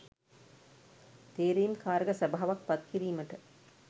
තේරීම් කාරක සභාවක් පත්කිරීමට